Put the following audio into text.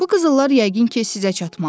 Bu qızıllar yəqin ki sizə çatmalıdır.